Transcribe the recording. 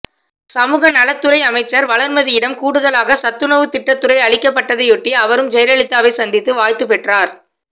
சமூக நலத்துறை அமைச்சர் வளர்மதியிடம் கூடுதலாக சத்துணவு திட்டத்துறை அளிக்கப்பட்டதையொட்டி அவரும் ஜெயலலிதாவை சந்தித்து வாழ்த்து பெற்றார்